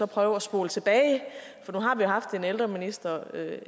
prøve at spole tilbage for nu har vi haft en ældreminister